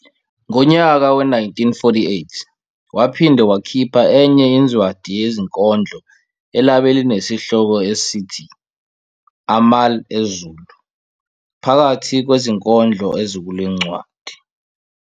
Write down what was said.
Ngonyaka we-1948 waphinde wakhipha enye inzwadi yezinkondlo elabe linesihloko esithi "Amal' Ezulu", phakathi kwezinkondlo ezikulencwadi